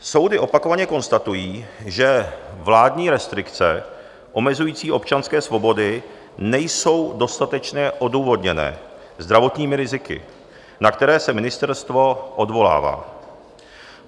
Soudy opakovaně konstatují, že vládní restrikce omezující občanské svobody nejsou dostatečně odůvodněné zdravotními riziky, na které se ministerstvo odvolává.